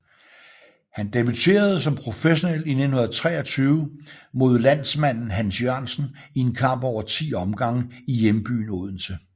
Han debuterede som professionel i 1923 mod landsmanden Hans Jørgensen i en kamp over 10 omgange i hjembyen Odense